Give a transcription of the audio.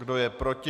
Kdo je proti?